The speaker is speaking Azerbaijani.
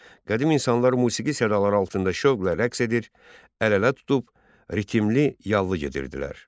Qədim insanlar musiqi sədaları altında şövqlə rəqs edir, əl-ələ tutub ritmli yallı gedirdilər.